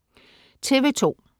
TV2: